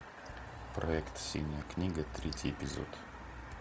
проект синяя книга третий эпизод